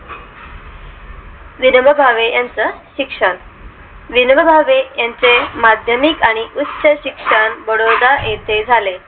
विनोबा भावे यांचं शिक्षण विनोबा भावे यांचे माध्यमिक आणि उच्च शिक्षण बडोदा येथे झाले